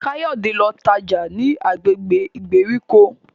Kayode ló tájá ní agbègbè ìgbèríko.